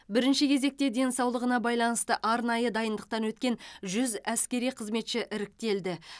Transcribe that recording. бірінші кезекте денсаулығына байланысты арнайы дайындықтан өткен жүз әскери қызметші іріктелді